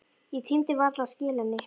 Ég tímdi varla að skila henni.